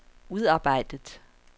udarbejdet